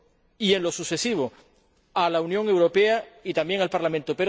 y en lo sucesivo, a la Unión Europea y también al Parlamento.